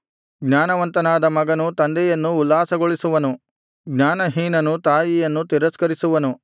ಜ್ಞಾನವಂತನಾದ ಮಗನು ತಂದೆಯನ್ನು ಉಲ್ಲಾಸಗೊಳಿಸುವನು ಜ್ಞಾನಹೀನನು ತಾಯಿಯನ್ನು ತಿರಸ್ಕರಿಸುವನು